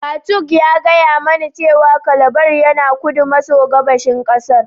Katung ya gaya mani cewa Calabar yana kudu maso gabashin kasar.